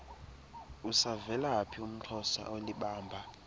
usavelaphi umxhosa olibamba